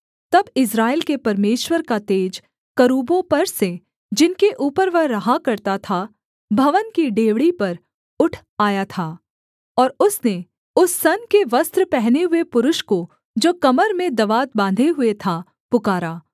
तब इस्राएल के परमेश्वर का तेज करूबों पर से जिनके ऊपर वह रहा करता था भवन की डेवढ़ी पर उठ आया था और उसने उस सन के वस्त्र पहने हुए पुरुष को जो कमर में दवात बाँधे हुए था पुकारा